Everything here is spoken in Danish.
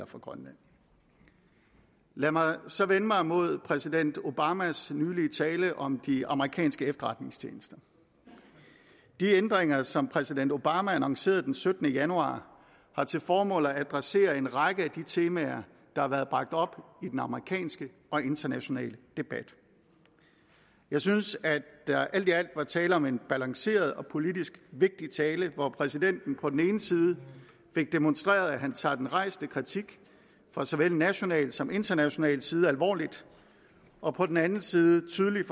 for grønland lad mig så vende mig mod præsident obamas nylige tale om de amerikanske efterretningstjenester de ændringer som præsident obama annoncerede den syttende januar har til formål at adressere en række af de temaer der har været bragt op i den amerikanske og internationale debat jeg synes at der alt i alt var tale om en afbalanceret og politisk vigtig tale hvor præsidenten på den ene side fik demonstreret at han tager den rejste kritik fra såvel national som international side alvorligt og på den anden side tydeligt